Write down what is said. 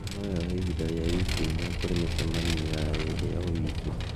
Īno no yoe ihinda rĩa wiki inya kũrĩ mĩcemanio ya ĩĩrĩ o wiki